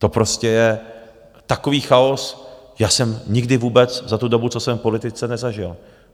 To prostě je takový chaos, jaký jsem nikdy vůbec za tu dobu, co jsem v politice, nezažil.